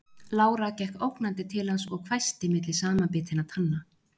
Lára gekk ógnandi til hans og hvæsti milli samanbitinna tanna